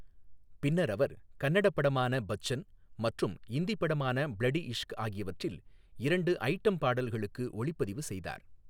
பின்னர் அவர் கன்னட படமான பச்சன் மற்றும் இந்தி படமான ப்ளடி இஷ்க் ஆகியவற்றில் இரண்டு ஐட்டம் பாடல்களுக்கு ஒளிப்பதிவு செய்தார்.